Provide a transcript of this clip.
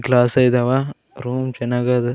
Glass ಇದಾವ room ಚೆನ್ನಾಗದೆ .